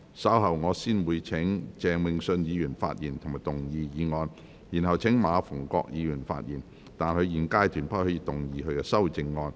稍後我會先請鄭泳舜議員發言及動議議案，然後請馬逢國議員發言，但他在現階段不可動議修正案。